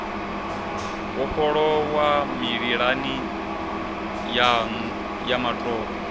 vhofholowa mililani yanu ya matope